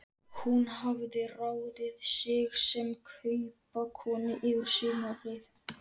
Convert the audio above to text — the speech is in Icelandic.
Hún hafði ráðið sig sem kaupakonu yfir sumarið.